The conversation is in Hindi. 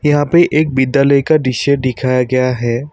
यहां पे एक विद्यालय का दृश्य दिखाया गया है।